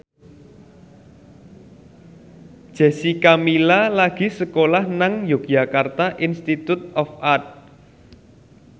Jessica Milla lagi sekolah nang Yogyakarta Institute of Art